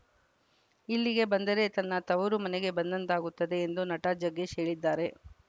ಇಲ್ಲಿಗೆ ಬಂದರೆ ತನ್ನ ತವರು ಮನೆಗೆ ಬಂದಂತಾಗುತ್ತದೆ ಎಂದು ನಟ ಜಗ್ಗೇಶ್‌ ಹೇಳಿದ್ದಾರೆ